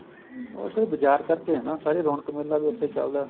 ਉਹ sir ਬਾਜਾਰ ਕਰਕੇ ਏ ਨਾ ਸਾਰੀ ਰੋਣਕ ਮੇਲਾ ਵੀ ਉੱਥੇ ਚੱਲਦਾ